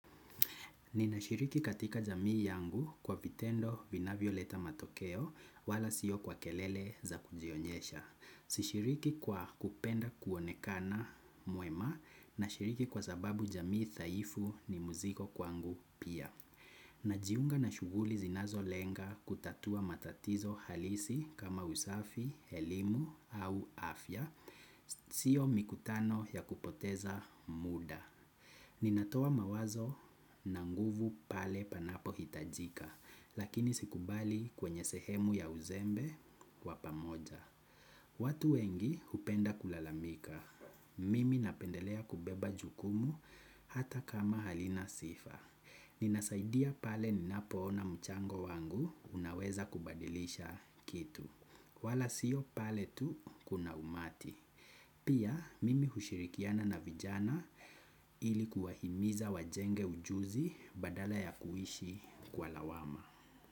Ninashiriki katika jamii yangu kwa vitendo vinavyo leta matokeo wala sio kwa kelele za kujionyesha. Sishiriki kwa kupenda kuonekana mwema nashiriki kwa sababu jamii dhaifu ni mzigo kwangu pia. Najiunga na shughuli zinazo lenga kutatua matatizo halisi kama usafi, elimu au afya. Sio mikutano ya kupoteza muda. Ninatoa mawazo na nguvu pale panapo hitajika, lakini sikubali kwenye sehemu ya uzembe wapamoja. Watu wengi hupenda kulalamika, mimi napendelea kubeba jukumu hata kama halina sifa. Ninasaidia pale ninapoona mchango wangu unaweza kubadilisha kitu. Wala sio pale tu kuna umati. Pia mimi hushilikiana na vijana ilikuwa himiza wajenge ujuzi badala ya kuishi kwa lawama.